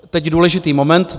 Teď důležitý moment.